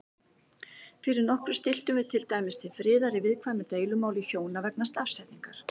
Fyrir nokkru stilltum við til dæmis til friðar í viðkvæmu deilumáli hjóna vegna stafsetningar.